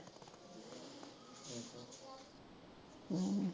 ਹਮ